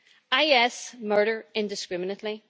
IS murder indiscriminately.